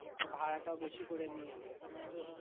ভাড়াটাও বেশি করে নিয়ে নিই তো